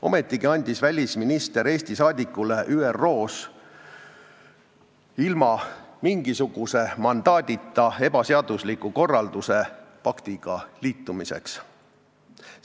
Ometigi andis välisminister Eesti saadikule ÜRO-s ilma igasuguse mandaadita ebaseadusliku korralduse paktiga liitumiseks.